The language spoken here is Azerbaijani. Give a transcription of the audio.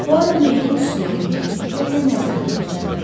Puaro meyidin üstünə əyilib diqqətlə nəzərdən keçirməyə başladı.